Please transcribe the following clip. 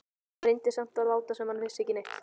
Hann reyndi samt að láta sem hann vissi ekki neitt.